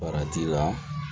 Farati la